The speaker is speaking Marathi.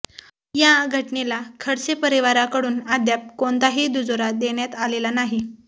या घटनेला खडसे परिवाराकडून अद्याप कोणताही दुजोरा देण्यात आलेला नाही